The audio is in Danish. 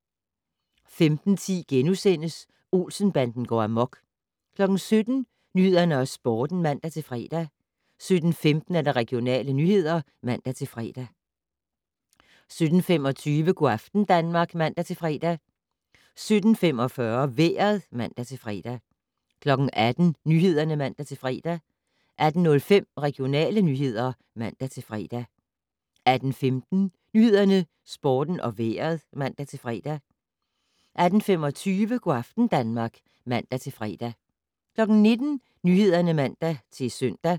15:10: Olsen-banden går amok * 17:00: Nyhederne og Sporten (man-fre) 17:15: Regionale nyheder (man-fre) 17:25: Go' aften Danmark (man-fre) 17:45: Vejret (man-fre) 18:00: Nyhederne (man-fre) 18:05: Regionale nyheder (man-fre) 18:15: Nyhederne, Sporten og Vejret (man-fre) 18:25: Go' aften Danmark (man-fre) 19:00: Nyhederne (man-søn)